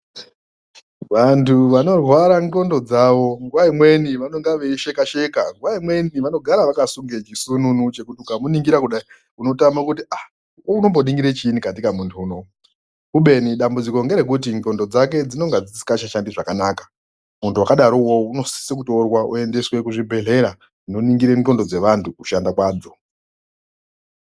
Vantu vanorwara ndxondo dzavo nguva imweni vanenge veisheka sheka nguwa imweni vanofara vakasunga chisununu nekuti wakamuningira unotama kuti unombonikira chinyi muntu unoyu kubeni dambudziko ngerekuti ndxondo dzake dzinenge dzisingachashandi zvakanaka muntu wakadaro unosisa kutorwa oendeswa kuzvibhehlera zvinoningira ndxondo dzevantu kushanda kwadzo.